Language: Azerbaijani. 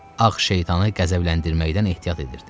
Ağ şeytanı qəzəbləndirməkdən ehtiyat edirdi.